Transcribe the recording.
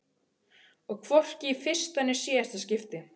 Og hvorki í fyrsta né síðasta skipti.